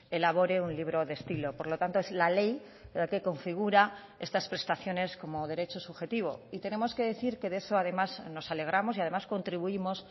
elabore un libro de estilo por lo tanto es la ley la que configura estas prestaciones como derecho subjetivo y tenemos que decir que de eso además nos alegramos y además contribuimos